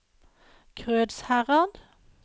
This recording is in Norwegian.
Krødsherad